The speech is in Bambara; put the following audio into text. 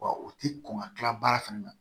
Wa u ti kɔn ka kila baara fana na